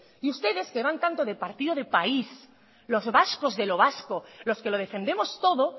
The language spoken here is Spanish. y ustedes que van tanto de partido de país los vascos de lo vasco los que lo defendemos todo